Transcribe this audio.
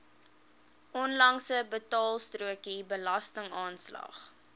onlangse betaalstrokie belastingaanslag